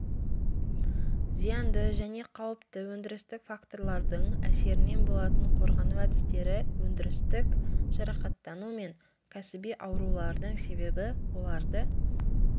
зиянды және қауіпті өндірістік факторлардың әсерінен болатын қорғану әдістері өндірістік жарақаттану мен кәсіби аурулардың себебі оларды